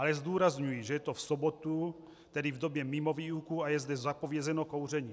Ale zdůrazňuji, že je to v sobotu, tedy v době mimo výuku, a je zde zapovězeno kouření.